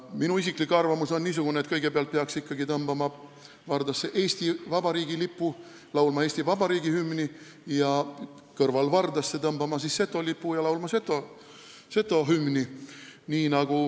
Minu isiklik arvamus on niisugune, et kõigepealt peaks ikkagi tõmbama vardasse Eesti Vabariigi lipu ja laulma Eesti Vabariigi hümni ning siis tõmbama kõrvalvardasse Setomaa lipu ja laulma Setomaa hümni.